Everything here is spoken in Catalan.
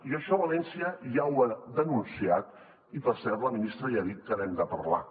i això valència ja ho ha denunciat i per cert la ministra ja ha dit que n’hem de parlar